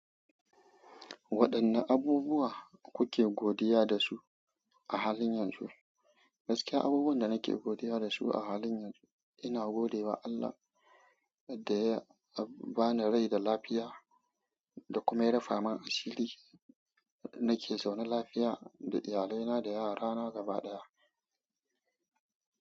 Waɗanne abubuwa kuke godiya da su a halin yanzu? Gaskiya, abubuwan da nake godiya da su a halin yanzu, ina gode wa Allah daya bani rai da lafiya da kuma ya rufa min asiri. Nake zaune lafiya da iyalaina da yarana gaba ɗaya.